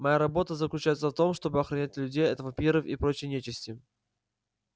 моя работа заключается в том чтобы охранять людей от вампиров и прочей нечисти